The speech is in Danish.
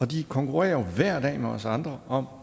de konkurrerer jo hver dag med os andre om